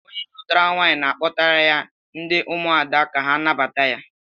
Onye lụtara nwaanyị na-akpọtara ya ndị ụmụada ka ha nabata ya